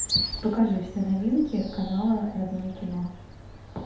покажи все новинки канала родное кино